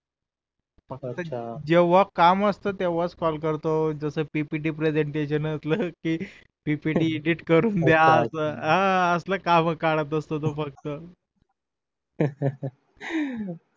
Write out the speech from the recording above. जेव्ह काम असत तेव्हाच कॉल करतो जस PPT प्रेसेंटेशन असलं कि PPT एडिट करून द्या असाल काम काढत असतो तो फक्त